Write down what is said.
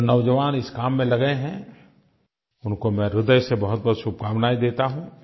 जो नौजवान इस काम में लगे हैं उनको मैं हृदय से बहुतबहुत शुभकामनायें देता हूँ